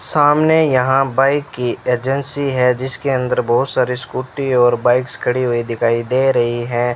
सामने यहां बाइक की एजेंसी है। जिसके अंदर बहोत सारे स्कूटी और बाइक्स खड़ी हुई दिखाई दे रही है।